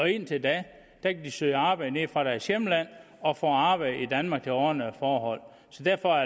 indtil da kan de søge arbejde nede fra deres hjemland og få arbejde i danmark under ordnede forhold så derfor